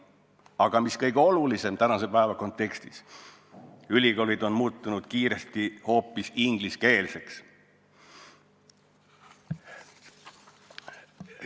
Aga mis kõige olulisem tänase päeva kontekstis – ülikoolid on muutunud kiiresti hoopis ingliskeelseks.